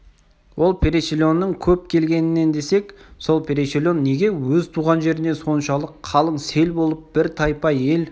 ол переселеннің көп келгенінен десек сол переселен неге өз туған жерінен соншалық қалың сел болып бір тайпа ел